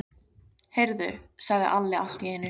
Heyrðu, sagði Alli allt í einu.